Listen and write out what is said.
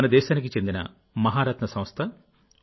మన దేశానికి చెందిన మహారత్న సంస్థ ఓ